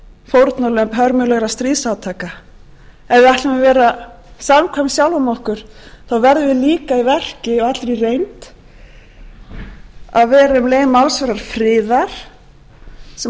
fórnarlömb hörmulegra stríðsátaka ef við ætlum að vera samkvæm sjálfum okkur þá verðum við líka í verki og í allri reynd